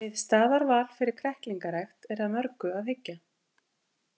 Við staðarval fyrir kræklingarækt er að mörgu að hyggja.